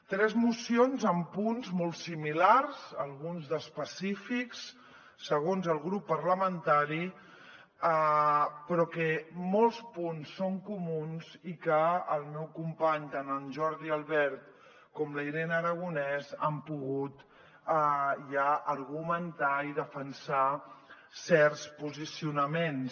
tres mocions amb punts molt similars alguns d’específics segons el grup parlamentari però que molts punts són comuns i que els meus companys tant en jordi albert com la irene aragonès han pogut ja argumentar i defensar certs posicionaments